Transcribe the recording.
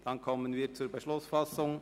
– Dann kommen wir zur Beschlussfassung.